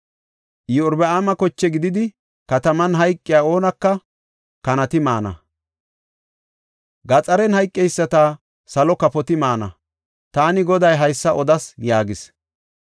Iyorbaama koche gididi kataman hayqiya oonaka kanati maana; gaxaren hayqeyisata salo kafoti maana. Taani Goday haysa odas!’ ” yaagis.